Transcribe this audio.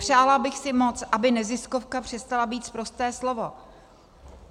Přála bych si moc, aby neziskovka přestala být sprosté slovo.